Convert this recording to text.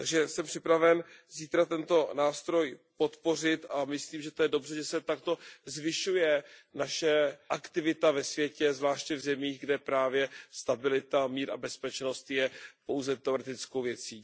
Jsem připraven zítra tento nástroj podpořit a myslím, že je to dobře, že se takto zvyšuje naše aktivita ve světě, zvláště v zemích, kde právě stabilita, mír a bezpečnost jsou pouze teoretickou věcí.